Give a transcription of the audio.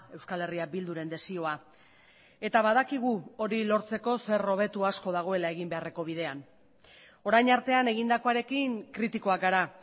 euskal herria bilduren desioa eta badakigu hori lortzeko zer hobetu asko dagoela egin beharreko bidean orain artean egindakoarekin kritikoak gara